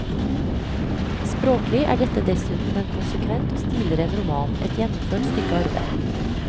Språklig er dette dessuten en konsekvent og stilren roman, et gjennomført stykke arbeid.